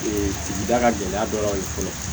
sigida ka gɛlɛya dɔ ye fɔlɔ